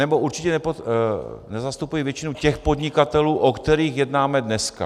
Anebo určitě nezastupují většinu těch podnikatelů, o kterých jednáme dneska.